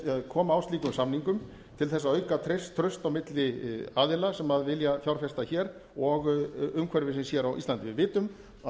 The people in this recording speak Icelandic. koma á slíkum samningum til að auka traust á milli aðila sem vilja fjárfesta hér og umhverfisins á íslandi við vitum að